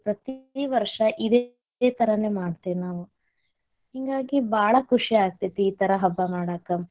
ಪ್ರತೀ ವರ್ಷಾ ಇದೆ ತರಾನೆ ಮಾಡತೇವಿ ನಾವು ಹಿಂಗಾಗಿ ಬಾಳ ಖುಷಿ ಆಗತೇತಿ ಈ ತರಾ ಹಬ್ಬಾ ಮಾಡಾಕ.